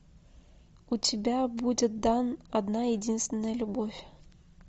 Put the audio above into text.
у тебя будет дан одна единственная любовь